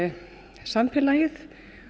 samfélagið